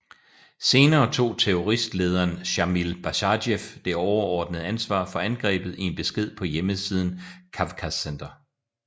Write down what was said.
Senere tog terroristlederen Sjamil Basajev det overordnede ansvar for angrebet i en besked på hjemmesiden Kavkazcenter